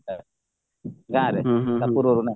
ଗାଁରେ